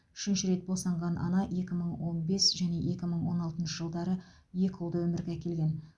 үшінші рет босанған ана екі мың он бес және екі мың он алтыншы жылдары екі ұлды өмірге әкелген